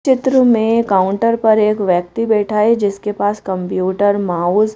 चित्र में काउंटर पर एक व्यक्ति बैठा है जिसके पास कंप्यूटर माउस --